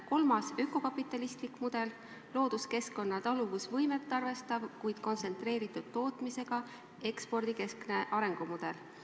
Kolmas on ökokapitalistlik mudel – looduskeskkonna taluvusvõimet arvestav, kuid kontsentreeritud tootmisega ekspordikeskne arengumudel.